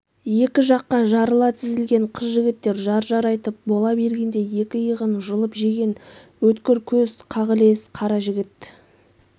екі жаққа жарыла тізілген қыз-жігіттер жар-жар айтып бола бергенде екі иығын жұлып жеген өткір көз қағылез қара жігіт